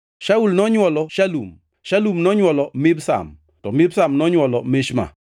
Shaul nonywolo Shalum, Shalum nonywolo Mibsam, to Mibsam nonywolo Mishma.